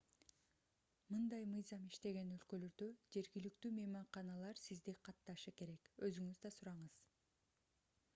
мындай мыйзам иштеген өлкөлөрдө жергиликтүү мейманканалар сизди катташы керек өзүңүз да сураңыз